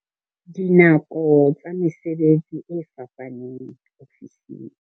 Dinako tsa mesebetsi e fapaneng ofising.